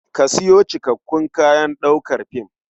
Ka sayo cikakakkun kayan ɗaukar fim.